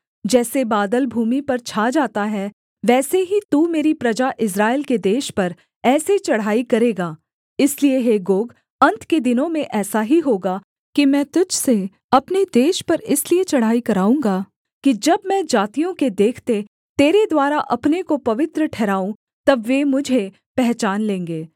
जैसे बादल भूमि पर छा जाता है वैसे ही तू मेरी प्रजा इस्राएल के देश पर ऐसे चढ़ाई करेगा इसलिए हे गोग अन्त के दिनों में ऐसा ही होगा कि मैं तुझ से अपने देश पर इसलिए चढ़ाई कराऊँगा कि जब मैं जातियों के देखते तेरे द्वारा अपने को पवित्र ठहराऊँ तब वे मुझे पहचान लेंगे